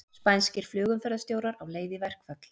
Spænskir flugumferðarstjórar á leið í verkfall